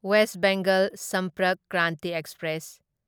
west Bengal Sampark Kranti express